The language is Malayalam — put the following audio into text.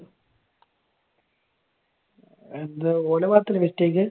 എന്താ? ഓന്റെ ഭാഗത്ത് അല്ലെ mistake?